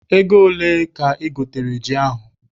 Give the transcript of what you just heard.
Ego ole ka I gotere ji ahụ?